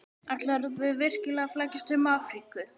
Ætlarðu virkilega að flækjast um Afríku?